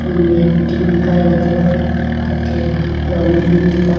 hung ee tingkai ga taga tate long ee ngantaga.